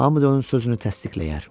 Hamı da onun sözünü təsdiqləyər.